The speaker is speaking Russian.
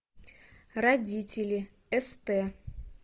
родители ст